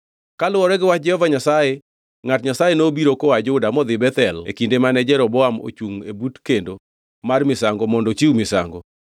Kaluwore gi wach Jehova Nyasaye, ngʼat Nyasaye nobiro koa Juda modhi Bethel e kinde mane Jeroboam ochungʼ e but kendo mar misango mondo ochiw misango.